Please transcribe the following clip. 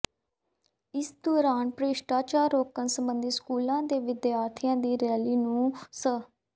ਇਸ ਦੌਰਾਨ ਭ੍ਰਿਸ਼ਟਾਚਾਰ ਰੋਕਣ ਸਬੰਧੀ ਸਕੂਲ ਦੇ ਵਿਦਿਆਰਥੀਆਂ ਦੀ ਰੈਲੀ ਨੂੰ ਸ